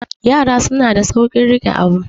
yara suna da saurin rike Abu